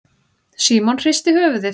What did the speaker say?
Símon hristi höfuðið.